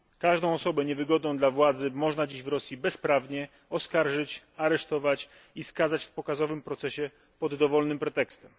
Każdą osobę niewygodną dla władzy można dziś w Rosji bezprawnie oskarżyć, aresztować i skazać w pokazowym procesie pod dowolnym pretekstem.